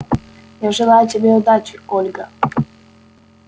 я желаю тебе удачи ольга